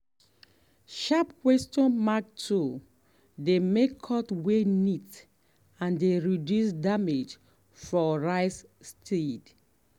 sharp questions mark tool dey make cut way neat and dey reduce damage for rice seed.